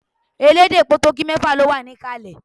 Elédè Potogí mẹ́fà ló wà níkàlẹ̀